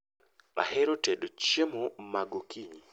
Ahero tedo chiemo ma gokinyi